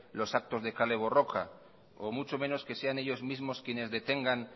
los actos de kale borroka o mucho menos que sean ellos mismos quienes detengan